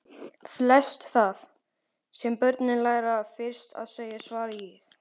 Flest það, sem börn læra fyrst að segja svaraði ég.